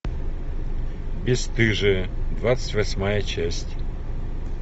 бесстыжие двадцать восьмая часть